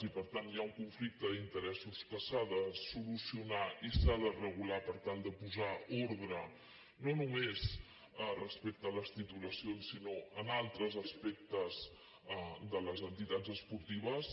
i per tant hi ha un conflicte d’interessos que s’ha de solucionar i s’ha de regular per tal de posar ordre no només respecte a les titulacions sinó en altres aspectes de les entitats espor·tives